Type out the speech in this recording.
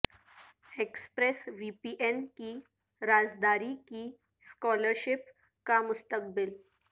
express V P N کی رازداری کی اسکالرشپ کا مستقبل